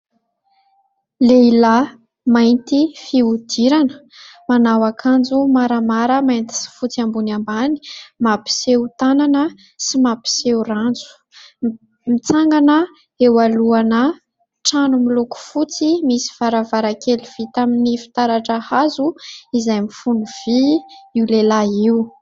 Lehilahy mainty fihodirana manao akanjo maramara mainty sy fotsy ambony ambany mampiseho tanana sy mampiseho ranjo, mitsangana eo alohan'ny trano miloko fotsy misy varavara kely vita tamin'ny fitaratra hazo izay mifono vy, io lehilahy io.